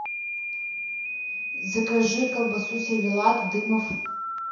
закажи колбасу сервелат дымов